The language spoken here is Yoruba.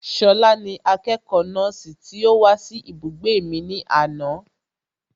Ṣọlá ni akẹ́kọ̀ọ́ nọ́ọ̀sì tí ó wá sí ibùgbé mi ní àná